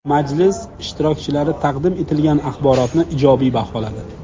Majlis ishtirokchilari taqdim etilgan axborotni ijobiy baholadi.